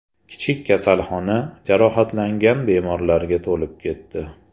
Kichik kasalxona jarohatlangan bemorlarga to‘lib ketdi.